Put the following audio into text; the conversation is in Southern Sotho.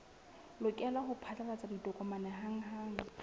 lokela ho phatlalatsa ditokomane hanghang